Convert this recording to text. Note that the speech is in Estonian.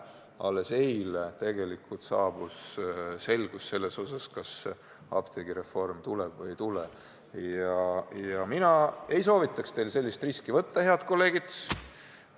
Alles eile ju saabus selgus, kas apteegireform tuleb või ei tule, ja mina ei soovita teil sellist riski võtta, head kolleegid.